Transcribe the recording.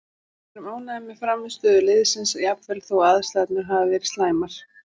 Við erum ánægðir með frammistöðu liðsins jafnvel þó aðstæðurnar hafi verið slæmar,